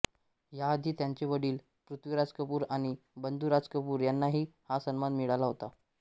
याआधी त्यांचे वडील पृथ्वीराज कपूर आणि बंधू राज कपूर यांनाही हा सन्मान मिळाला होता